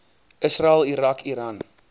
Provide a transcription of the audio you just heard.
israel irak iran